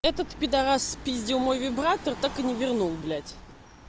этот пидарас спиздил мой вибратор так и не вернул блядь